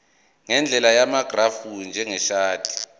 ngendlela yamagrafu njengeshadi